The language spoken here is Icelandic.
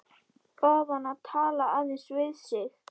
Bað hann að tala aðeins við sig.